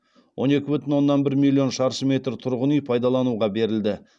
он екі бүтін оннан бір милион шаршы метр тұрғын үй пайдалануға берілді